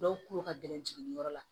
Dɔw ko ka gɛlɛn jiginniyɔrɔ la